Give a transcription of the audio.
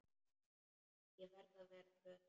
Ég verði að vera glöð.